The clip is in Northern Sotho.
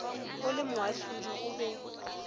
o le moahlodi o be